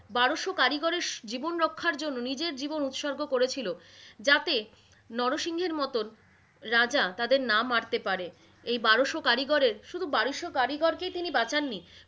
বারোশ কারিগরের জীবন রক্ষার জন্য নিজের জীবন উৎসর্গ করেছিলো যাতে, নরসিংহের মতন রাজা তাদের না মারতে পারে। এই বারোশ কারিগরের, শুধু বারোশ কারিগর কেই তিনি বাঁচানিন,